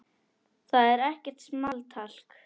Það er ekkert small talk.